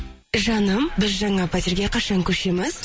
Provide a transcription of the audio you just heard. жаным біз жаңа пәтерге қашан көшеміз